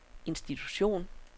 institution